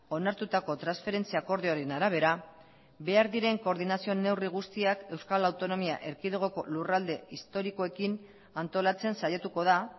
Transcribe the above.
onartutako transferentzia akordioaren arabera behar diren koordinazio neurri guztiak euskal autonomia erkidegoko lurralde historikoekin antolatzen saiatuko da